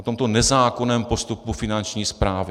O tomto nezákonném postupu Finanční správy?